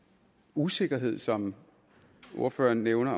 usikkerhed som ordføreren nævner